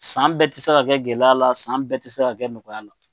San bɛɛ tɛ se ka kɛ gɛlɛya la san bɛɛ tɛ se ka kɛ nɔgɔya la.